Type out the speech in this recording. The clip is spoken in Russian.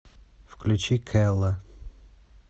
включи кэлла